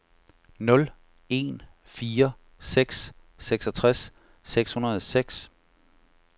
nul en fire seks seksogtres seks hundrede og seks